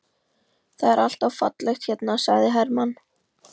Það er alltaf fallegt hérna, sagði Hermann.